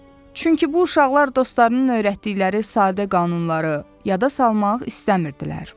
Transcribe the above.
Çünki bu uşaqlar dostlarının öyrətdikləri sadə qanunları yada salmaq istəmirdilər.